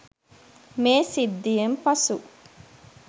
මේ සිද්ධියෙන් පසු